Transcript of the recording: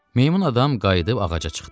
Meymun adam qayıdıb ağaca çıxdı.